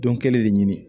Dɔn kelen de ɲini